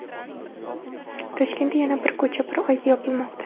Toshkentda yana bir ko‘cha bir oyga yopilmoqda.